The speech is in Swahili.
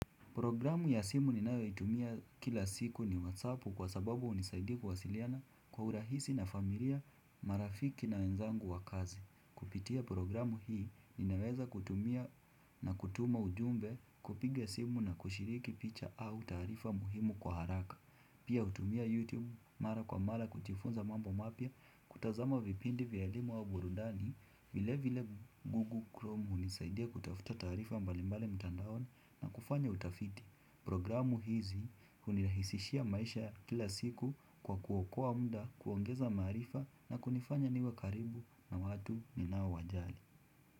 Programu ya simu ninayo itumia kila siku ni whatsappu kwa sababu huunisaidia kuwasiliana kwa urahisi na familia marafiki na wenzangu wa kazi. Kupitia programu hii ninaweza kutumia na kutuma ujumbe kupiga simu na kushiriki picha au taarifa muhimu kwa haraka. Pia hutumia YouTube mara kwa mara kujifunza mambo mapya kutazama vipindi vya elimu wa burudani vile vile Google Chrome hunisaidia kutafuta taarifa mbalimbali mtandaoni na kufanya utafiti Programu hizi hunirahisishia maisha kila siku kwa kuokoa muda kuongeza maarifa na kunifanya niwe karibu na watu ninao wajali.